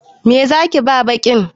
Me zaki ba baƙin?